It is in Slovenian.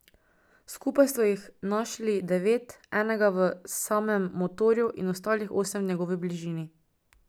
Skupaj so jih našli devet, enega v samem motorju in ostalih osem v njegovi bližini.